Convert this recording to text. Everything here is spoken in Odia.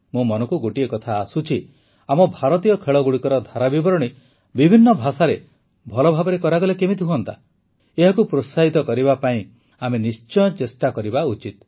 ମୋ ମନକୁ ଗୋଟିଏ କଥା ଆସୁଛି ଆମ ଭାରତୀୟ ଖେଳଗୁଡ଼ିକର ଧାରା ବିବରଣୀ ବିଭିନ୍ନ ଭାଷାରେ ଭଲ ଭାବରେ କରାଗଲେ କେମିତି ହୁଅନ୍ତା ଏହାକୁ ପ୍ରୋତ୍ସାହିତ କରିବା ପାଇଁ ଆମେ ନିଶ୍ଚୟ ଚେଷ୍ଟା କରିବା ଉଚିତ